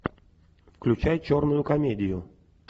включай черную комедию